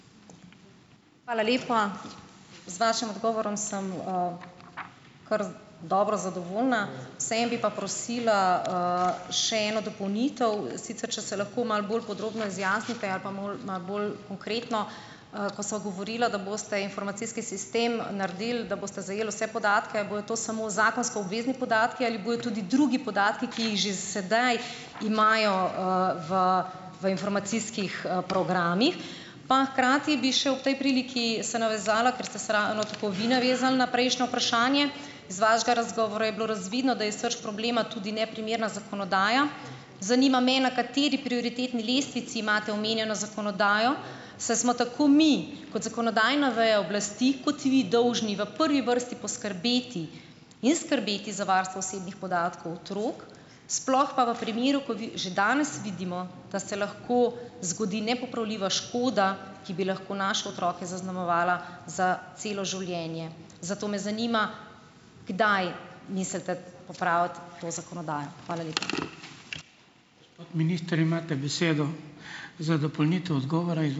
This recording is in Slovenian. Hvala lepa. Z vašim odgovorom sem kar dobro zadovoljna. Vseeno bi pa prosila še eno dopolnitev, sicer če se lahko malo bolj podrobno izjasnite ali pa malo malo bolj konkretno. Ko sva govorila, da boste informacijski sistem naredili, da boste zajeli vse podatke, a bojo to samo zakonsko obvezni podatki ali bojo tudi drugi podatki, ki jih že sedaj imajo v v informacijskih, programih? Pa hkrati bi še ob tej priliki se navezala, ker ste se ravno tako vi navezali na prejšnje vprašanje, iz vašega razgovora je bilo razvidno, da je srž problema tudi neprimerna zakonodaja. Zanima me, na kateri prioritetni lestvici imate omenjeno zakonodajo. Saj smo tako mi kot zakonodajna veja oblasti, kot vi dolžni v prvi vrsti poskrbeti in skrbeti za varstvo osebnih podatkov otrok, sploh pa v primeru, ko že danes vidimo, da se lahko zgodi nepopravljiva škoda, ki bi lahko naše otroke zaznamovala za celo življenje. Zato me zanima, kdaj mislite popraviti to zakonodajo. Hvala lepa.